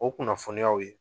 O kunnafoniyaw ye